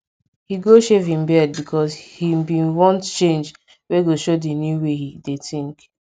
he go shave him beard because him been want change wey go show the new way him dey think